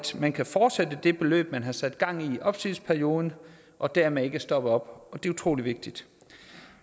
man kan fortsætte det forløb man har sat gang i i opsigelsesperioden og dermed ikke stopper op det er utrolig vigtigt